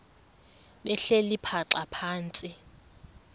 behleli bhaxa phantsi